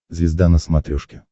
звезда на смотрешке